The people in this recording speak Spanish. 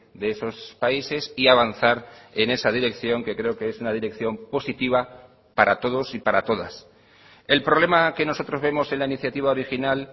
de esos países y avanzar en esa dirección que creo que es una dirección positiva para todos y para todas el problema que nosotros vemos en la iniciativa original